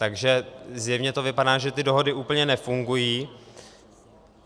Takže zjevně to vypadá, že ty dohody úplně nefungují.